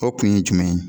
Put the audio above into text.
O kun ye jumɛn ye